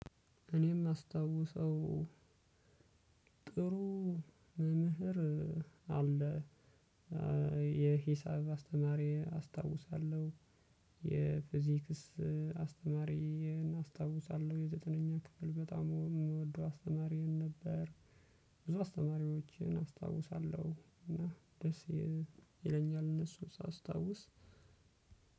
እኔም አስታውሰው። ጥሩ መምህር አለ። የሂሳብ አስተማሪ አስታውሳለሁ። የፊዚክስ አስተማሪ እናስታውሳለሁ የዘጠነኛ ክፍል በጣም የምወደው አስተማሪ ነበር። ብዙ አስተማሪዎችን አስታውሳለሁ እና ደስ ይለኛል እነሱን ሳስታውስ።